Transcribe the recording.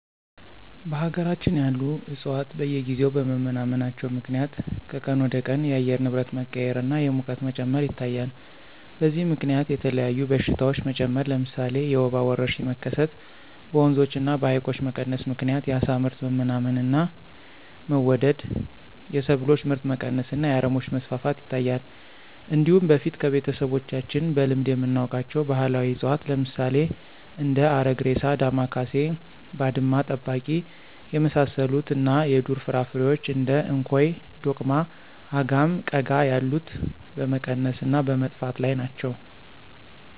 በሀገራችን ያሉ ዕፅዋት በየጊዜው በመመናመናቸው ምክንያት ከቀን ወደቀን የአየር ንብረት መቀያየር እና የሙቀት መጨመር ይታያል። በዚህም ምከንያት የተለያዩ በሽታዎች መጨመር ለምሳሌ የወባ ወረርሽኝ መከሰት፣ በወንዞች እና በሀይቆች መቀነስ ምክንያት የአሳ ምርት መመናመን እና መወደድ፣ የሰብሎች ምርት መቀነስ እና የአረሞች መስፋፋት ይታያል። እንዲሁም በፊት ከቤተሰቦቻችን በልምድ የምናውቃቸው ባህላዊ እፅዋት ለምሳሌ እንደ አረግሬሳ፣ ዳማካሴ፣ ባድማ ጠባቂ የመሳሰሉት እና የዱር ፍራፍሬዎች እንደ እንኮይ፣ ዶቅማ፣ አጋም፣ ቀጋ ያሉት በመቀነስ እና በመጥፋት ላይ ናቸው።